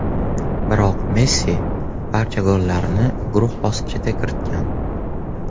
Biroq Messi barcha gollarini guruh bosqichida kiritgan.